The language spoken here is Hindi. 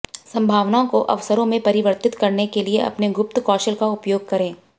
संभावनाओं को अवसरों में परिवर्तित करने के लिए अपने गुप्त कौशल का उपयोग करें